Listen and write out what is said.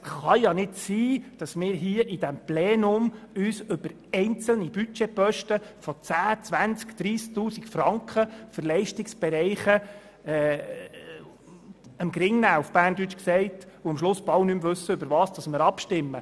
Es kann nicht sein, dass wir uns im Plenum wegen einzelner Budgetposten von 10 000, 20 000 oder 30 000 Franken die Köpfe einschlagen und am Ende kaum noch wissen, worüber wir abstimmen.